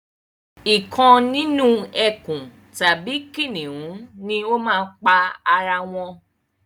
Ìkan nínú ẹkùn tàbí kìnìún ni o máa pa ara wọn